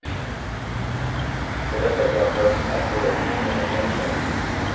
For dette ble han dømt til et år og ni måneders fengsel.